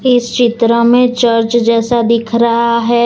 इस चित्र में चर्च जैसा दिख रहा है।